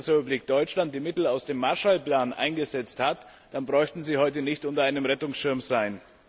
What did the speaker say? die Bundesrepublik Deutschland die Mittel aus dem Marshall Plan eingesetzt hat, dann bräuchten Sie heute nicht unter einem Rettungsschirm sein.